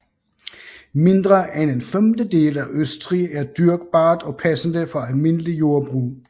Mindre end en femtedel af Østrig er dyrkbart og passende for almindelig jordbrug